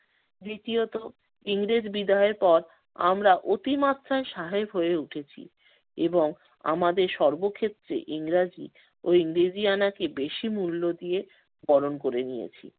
দ্বিতীয়ত ইংরেজ বিদায়ের পর আমরা অতিমাত্রায় সাহেব হয়ে উঠেছি এবং আমাদের সর্বক্ষেত্রে ইংরেজি ও ইংরেজিয়ানাকে বেশি মূল্য দিয়ে বরণ করে নিয়েছি।